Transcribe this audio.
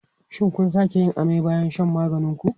Shin kun sake yin amai bayan shan maganin ku?